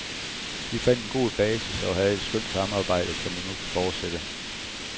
Vi fandt en god basis og havde et skønt samarbejde, som vi nu kan fortsætte.